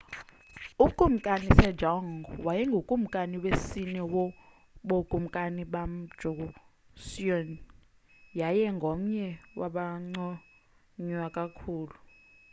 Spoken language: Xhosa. ukumkani sejong wayengukumkani wesine wobukumkani bamjoseon yaye ngomnye wabanconywa kakhulu